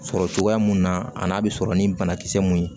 Sɔrɔ cogoya mun na a n'a bɛ sɔrɔ ni banakisɛ mun ye